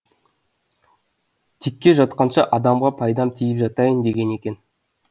текке жатқанша адамға пайдам тиіп жатайын деген екен